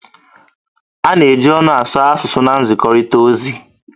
A na-eji ọnụ asụ asụsụ asụsụ na nzikọrịta ozi